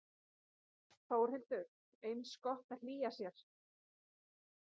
Þórhildur: Er gott að hlýja sér?